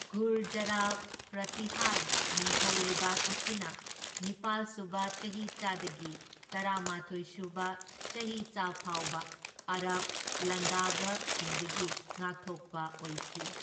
ꯒꯨꯔꯖꯥꯔꯥ ꯄ꯭ꯔꯇꯤꯍꯥꯔ ꯅꯤꯡꯊꯧ ꯂꯩꯕꯥꯛ ꯑꯁꯤꯅ ꯅꯤꯄꯥꯜ ꯁꯨꯕ ꯆꯍꯤꯆꯥꯗꯒꯤ ꯇꯔꯥꯃꯥꯊꯣꯢ ꯁꯨꯕ ꯆꯍꯤꯆꯥ ꯐꯥꯎꯕ ꯑꯥꯔꯕ ꯂꯥꯟꯗꯥꯕꯁꯤꯡꯗꯒꯤ ꯉꯥꯛꯊꯣꯛꯄ ꯑꯣꯏꯈꯤ꯫